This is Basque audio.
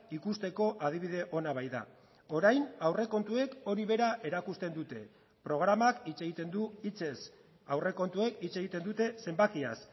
ikusteko adibide ona baita orain aurrekontuek hori bera erakusten dute programak hitz egiten du hitzez aurrekontuek hitz egiten dute zenbakiaz